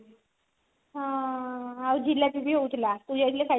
ହଁ ଆଉ ଜିଲାପି ବି ହେଉ ଥିଲା ତୁ ଯାଇଥିଲେ ଖାଇଥାନ୍ତୁ